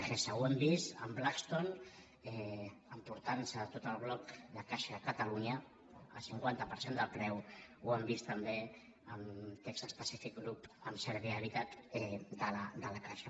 ho hem vist amb blackstone emportant se tot el bloc de caixa catalunya al cinquanta per cent del preu ho hem vist també amb texas pacific group amb servihabitat de la caixa